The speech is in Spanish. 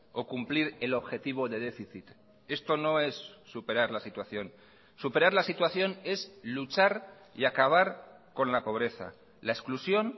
o cumplir el objetivo de déficit esto no es superar la situación superar la situación es luchar y acabar con la pobreza la exclusión